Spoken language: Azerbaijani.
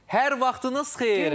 Hər vaxtınız xeyir.